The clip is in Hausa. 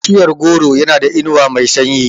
Bishiyar goro yana da inuwa mai sanyi.